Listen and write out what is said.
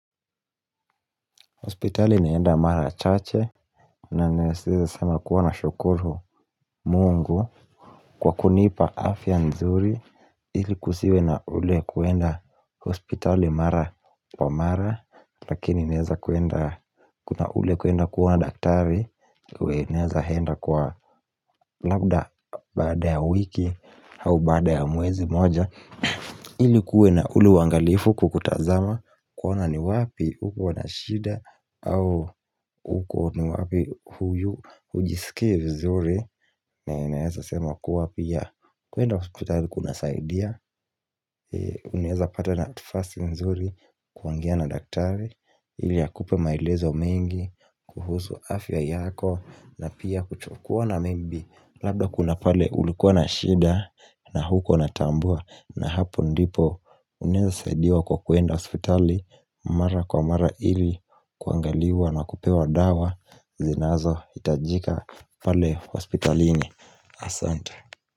Hospitali naenda mara chache na neseza sama kuwa na shukuru mungu kwa kunipa afya nzuri ili kusiwe na ule kuenda hospitali mara kwa mara lakini naeza kuenda kuna ule kuenda kuona daktari ue neza henda kwa labda baada ya wiki au baada ya mwezi moja ilikuwe na ule uangalifu kwa kutazama kuona ni wapi huko wana shida au huko ni wapi huyu hujisikie vizuri na inaweza sema kuwa pia kuenda hospitali kuna saidia unaeza pata na tifasi nzuri kuongea na daktari ili a kupe maelezo mengi kuhusu afya yako na pia kuchukua na maybe labda kuna pale ulikuwa na shida na huko na tambua na hapo ndipo unaeza saidiwa kwa kuenda hospitali Mara kwa mara ili kuangaliwa na kupewa dawa zinazo itajika pale hospitalini Asante.